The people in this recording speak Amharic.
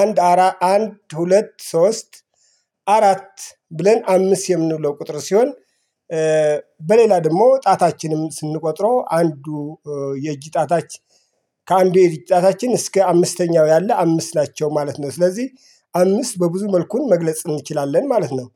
አንድ አራት አንድ ሁለት ሶስት አራት ብለን አምስት የምንውለው ቁጥር ሲሆን። በሌላ ደግሞ ጣታችንም ስንቆጥርው አንዱ የእጅ ጣታች ከአንዱ የእጅ ጣታችን እስከ አምስተኛው ያለ አምስት ናቸው ማለት ነው። ስለዚህ አምስት በብዙ መልኩ መግለጽ እንችላለን ማለት ነው።